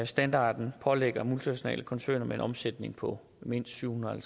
standarden pålægger multinationale koncerner med en omsætning på mindst syv hundrede og